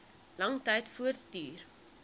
lang tyd voortduur